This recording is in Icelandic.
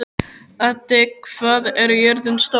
Addi, hvað er jörðin stór?